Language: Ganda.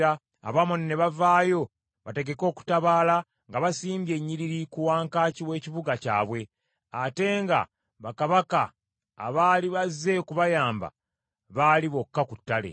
Abamoni ne bavaayo bategeke okutabaala nga basimbye ennyiriri ku wankaaki w’ekibuga kyabwe, ate nga bakabaka abaali bazze okubayamba baali bokka ku ttale.